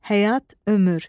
Həyat, ömür.